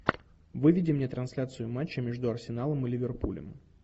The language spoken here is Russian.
выведи мне трансляцию матча между арсеналом и ливерпулем